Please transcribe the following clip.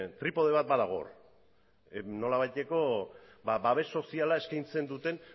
tripode bat badago hor nolabaiteko babes soziala eskaintzen duten